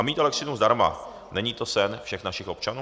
A mít elektřinu zdarma, není to sen všech našich občanů?